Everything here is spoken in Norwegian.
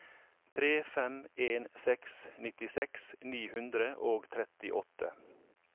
tre fem en seks nittiseks ni hundre og trettiåtte